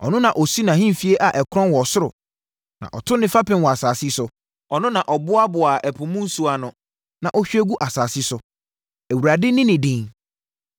Ɔno na ɔsi nʼahemfie a ɛkrɔn wɔ ɔsoro na ɔto ne fapem wɔ asase so. Ɔno na ɔboaboa ɛpo mu nsuo ano na ɔhwie gu asase so. Awurade ne ne din!